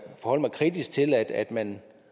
forholde mig kritisk til at man